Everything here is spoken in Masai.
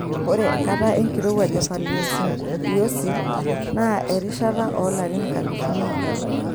Ore enkata enkirowuaj e Paleocene-Eocene naa erishata oolarin nkalifuni iip are.